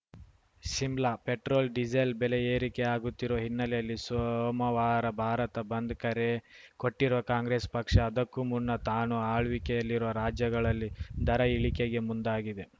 Shimla petrol diesel ಬೆಲೆ ಏರಿಕೆಯಾಗುತ್ತಿರುವ ಹಿನ್ನೆಲೆಯಲ್ಲಿ ಸೋಮವಾರ ಭಾರತ ಬಂದ್‌ಗೆ ಕರೆ ಕೊಟ್ಟಿರುವ ಕಾಂಗ್ರೆಸ್‌ ಪಕ್ಷ ಅದಕ್ಕೂ ಮುನ್ನ ತಾನು ಆಳ್ವಿಕೆಯಲ್ಲಿರುವ ರಾಜ್ಯಗಳಲ್ಲಿ ದರ ಇಳಿಕೆಗೆ ಮುಂದಾಗಿದೆ